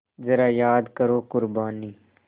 ज़रा याद करो क़ुरबानी